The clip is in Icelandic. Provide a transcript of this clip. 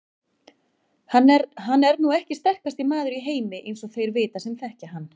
Hann er nú ekki sterkasti maður í heimi eins og þeir vita sem þekkja hann.